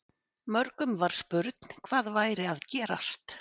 Mörgum var spurn hvað væri að gerast.